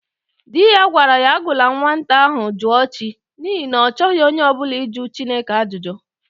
Di ya gwara ya agụla nnwata ahụ Jụọchị n'ihi na ọ chọghị onye ọ bụla ịjụ Chineka ajụjụ!